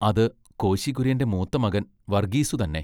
അതു കോശി കുര്യന്റെ മൂത്ത മകൻ വർഗീസ്സു തന്നെ.